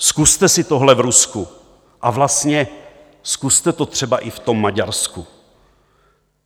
Zkuste si tohle v Rusku a vlastně zkuste to třeba i v tom Maďarsku.